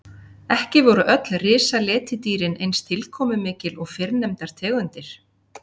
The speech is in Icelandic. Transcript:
Ekki voru öll risaletidýrin eins tilkomumikil og fyrrnefndar tegundir.